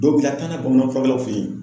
Dɔw bɛ ka taa n'a ye bamanan furakɛlaw fɛ yen.